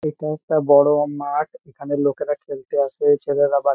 এটা একটা বড়ো-ও মাঠ। এখানে লোকেরা খেলতে আসে ছেলেরা বা --